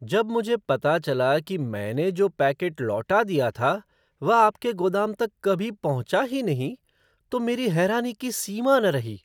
जब मुझे पता चला कि मैंने जो पैकेट लौटा दिया था, वह आपके गोदाम तक कभी पहुँचा ही नहीं, तो मेरी हैरानी की सीमा न रही।